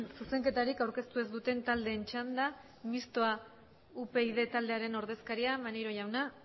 zuzenketarik aurkeztu ez duten taldeen txanda mistoa upyd taldearen ordezkaria maneiro jauna